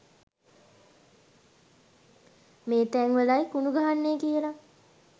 මේ තැන්වලයි කණු ගහන්නේ කියලා